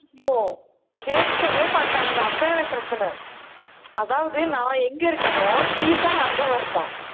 ஓ கேட்கவே மாட்டானுங்க அதான் எனக்கு பிரச்சனை. அதாவது, நான் எங்க இருக்கேனோ ஸ்ரீ சாயி அங்கதான் இருப்பான்